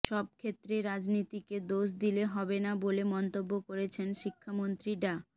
সবক্ষেত্রে রাজনীতিকে দোষ দিলে হবে না বলে মন্তব্য করেছেন শিক্ষামন্ত্রী ডা